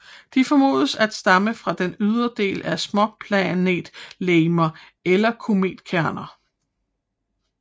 De formodes at stamme fra den ydre del af småplanetlegemer eller kometkerner